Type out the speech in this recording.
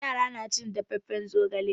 Yara na cin dafaffen zogala.